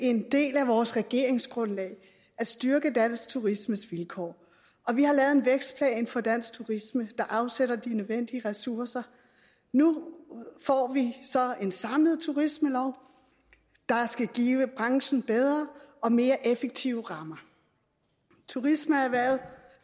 en del af vores regeringsgrundlag at styrke dansk turismes vilkår og vi har lavet en vækstplan for dansk turisme der afsætter de nødvendige ressourcer nu får vi så en samlet turismelov der skal give branchen bedre og mere effektive rammer turismeerhvervet